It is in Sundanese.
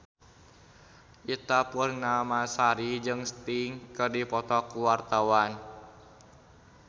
Ita Purnamasari jeung Sting keur dipoto ku wartawan